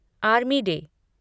army day